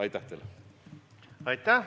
Aitäh!